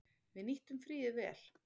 Við nýttum fríið vel.